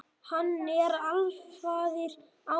Hann er alfaðir ása.